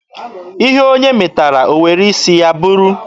Ihe onye metara, o were isi ya buru ya.